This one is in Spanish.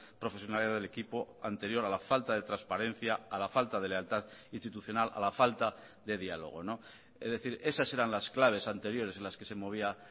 profesionalidad del equipo anterior a la falta de transparencia a la falta de lealtad institucional a la falta de diálogo es decir esas eran las claves anteriores en las que se movía